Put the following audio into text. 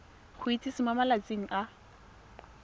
go itsise mo malatsing a